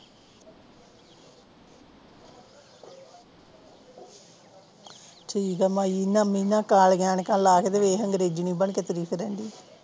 ਠੀਕਾ ਮਾਈ ਮੀਨਾ ਕਾਲੀਆਂ ਐਨਕਾਂ ਲਾ ਕੇ ਤਾ ਵੇਖ ਐਗਰੇਜਨੀ ਬਣ ਕੇ ਤੁਰੀ ਫਿਰਨ ਦੀ